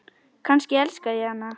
Kannski elska ég hana?